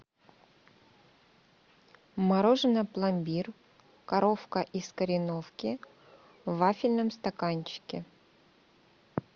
мороженое пломбир коровка из кореновки в вафельном стаканчике